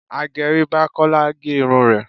Agẹrí bá Kọ́lá gẹ irun rẹ̀.